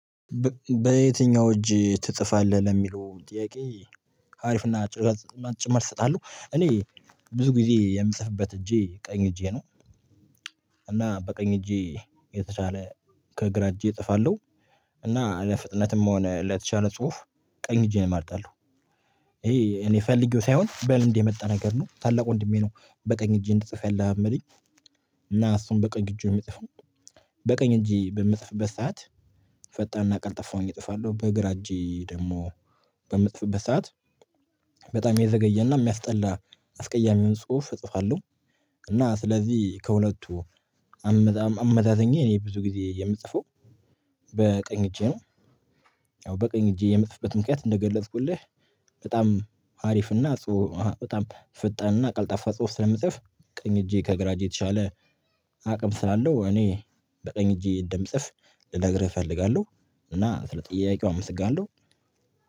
በየትኛው እጅ ትጽፋለህ ለሚለው ጥያቄ? አሪፍ እና አጭር መልስ እሰጣለሁ እኔ ብዙ ጊዜ የምጽፍበት እጄ ቀኝ እጄ ነው። እና በቀኝ እጄ የተሻለ ከግራ እጄ እጽፋለሁ። እና ለፍጥነትም ሆነ ለተሻለ ጽሁፍ ቀኝ እጄን እመርጣለሁ። እኔ ፈልጌው ሳይሆን በልምድ የመጣ የመጣ ነገር ነው። ታላቅ ወንድሜ ነው በቀኝ እጄ እንድጽፍ ያለማመደኝ። እና እሱም በቀኝ እጁ ነው የሚጽፈው። በቀኝ እጄ በምጽፍበት ሰዓት ፈጣንና ቀልጣፋ ሁኜ እጽፋለሁ። በግራ እጄ ደግሞ በምጽፍበት ሰዓት በጣም የዘገየና የሚያስጠላ አስቀያሚውን ጽሁፍ እጽፋለሁ። እና ስለዚህ ከሁለቱ አመዛዝኜ እኔ ብዙ ጊዜ የምጽፈው በቀኝ እጄ ነው። ያው በቀኝ እጄ የምጽፍበት ምክንያት እንደገለጽኩልህ በጣም አሪፍና ጽሁ በጣም ፈጣንና ቀልጣፋ ጽሁፍ ስለምጽፍ ቀኝ እጄ ከግራ እጄ የተሻለ አቅም ስላለው እኔ በቀኝ እጄ እንደምጽፍ ልነግርህ እፈልጋለሁ። እና ስለጥያቄው አመሰግናለሁ።